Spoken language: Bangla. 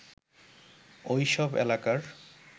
ঐ সব এলাকার